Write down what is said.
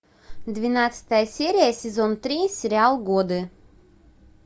двенадцатая серия сезон три сериал годы